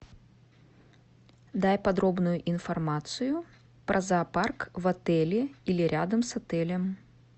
дай подробную информацию про зоопарк в отеле или рядом с отелем